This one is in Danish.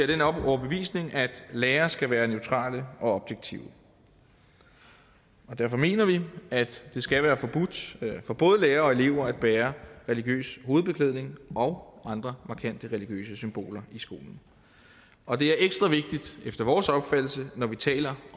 den overbevisning at lærere skal være neutrale og objektive derfor mener vi at det skal være forbudt for både lærere og elever at bære religiøs hovedbeklædning og andre markante religiøse symboler i skolen og det er ekstra vigtigt efter vores opfattelse når man taler